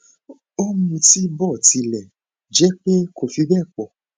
ó ń mutí bó tilẹ jẹ pé kò fi bẹẹ pọ